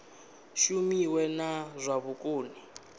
shumiwe na zwa vhukoni ha